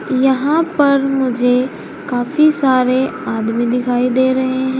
यहां पर मुझे काफी सारे आदमी दिखाई दे रहे हैं।